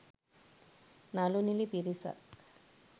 නළු නිළි පිරිසක්